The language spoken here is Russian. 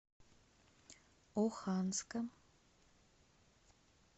оханска